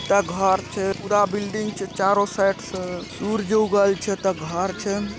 एता घर छै पूरा बिल्डिंग छै चारो साइड से सुर्ज उगल छै एता घर छै।